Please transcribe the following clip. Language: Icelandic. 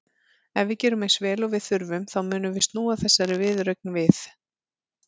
Ef við gerum eins vel og við þurfum þá munum við snúa þessari viðureign við.